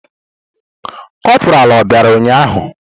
Kopuralu obịara ụnyahụ?